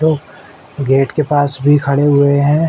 लोग गेट के पास भी खड़े हुए हैं।